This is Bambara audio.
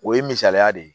O ye misaliya de ye